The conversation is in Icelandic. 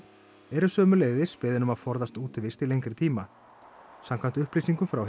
eru sömuleiðis beðin um að forðast útivist í lengri tíma samkvæmt upplýsingum frá